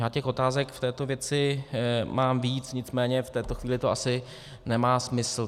Já těch otázek v této věci mám víc, nicméně v tuto chvíli to asi nemá smysl.